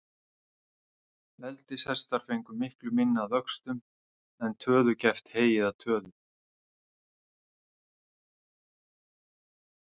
Eldishestar fengu miklu minna að vöxtum, en töðugæft hey eða töðu.